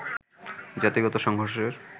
জাতিগত সংঘর্ষের